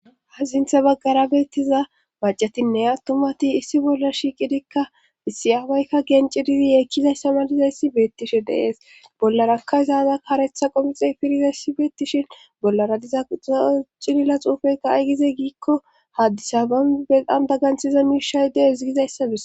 Hap myzintha baggara beettiza macatinne attumati issi bolla shiiqidikka isiyaabaykka gencididi yeekkizayssamalizayssi beettishe deees bollarakka izaada karetha qomixe pirizayssi beettishin bollara dizaa cilila xuufeykka aygize giikko haddisa ban beqan bagganthiza miishay deezgizayssadis